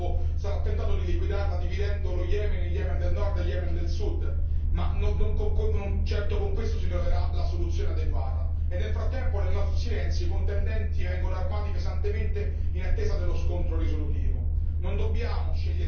Forse qualcuno nel Golfo sarà tentato di liquidarla dividendo lo Yemen in Yemen del nord e Yemen del sud, ma non certo con questo si troverà la soluzione adeguata, e nel frattempo nel nostro silenzio i contendenti vengono armati pesantemente in attesa dello scontro risolutivo.